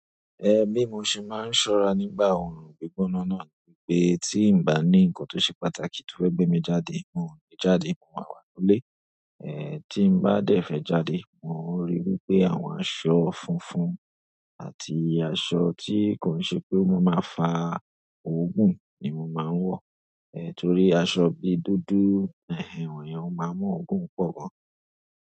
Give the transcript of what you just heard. Ehn bí mo ṣe máa ń ṣọ́ra nígbà ọrùn gbígbóná náà ni pé tí n bá ní nǹkan tó ṣe pàtàkì tó fẹ́ gbé mi jáde, n ò ní jáde, mo máa wà nílé. Ehn tí n bá dẹ̀fẹ̀ jáde, mo ń ríi wí pé àwọn aṣọ funfun àti aṣọ tí kò n ṣe pé o ma máa fa oogún ni mo máa ń wọ̀. Ehn torí aṣọ bi dúdú, ẹhen wọ̀nyẹn ó máa n mú oogún pọ̀ gan.